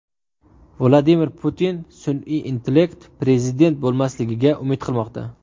Vladimir Putin sun’iy intellekt prezident bo‘lmasligiga umid qilmoqda.